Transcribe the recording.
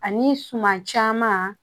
Ani suman caman